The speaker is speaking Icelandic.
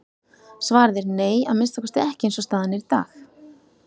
Svarið er nei, að minnsta kosti ekki eins og staðan er í dag.